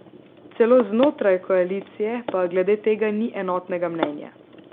Celo znotraj koalicije pa glede tega ni enotnega mnenja.